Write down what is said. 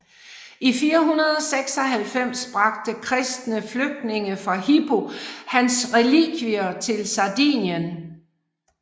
I 496 bragte kristne flygtninge fra Hippo hans relikvier til Sardinien